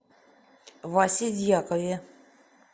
васе дьякове